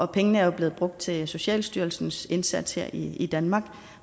pengene er jo blevet brugt til socialstyrelsens indsats her i i danmark